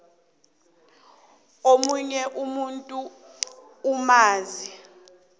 omunye umuntu onzima